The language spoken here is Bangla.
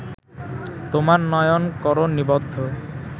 তোমার নয়ন করো নিবদ্ধ